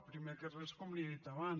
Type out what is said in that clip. primer de res com li he dit abans